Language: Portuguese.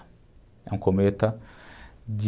É um cometa de...